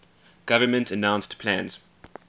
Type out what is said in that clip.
government announced plans